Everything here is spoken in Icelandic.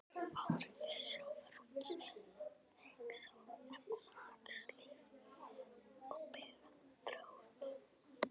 Áhrif sjávarútvegs á efnahagslíf og byggðaþróun.